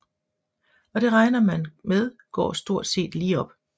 Og det regner man med går stort set lige op